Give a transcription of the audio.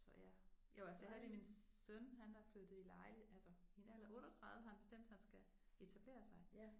Så ja jo altså jeg havde lige min søn han er flyttet i altså i en alder af 38 har han bestemt han skal etablere sig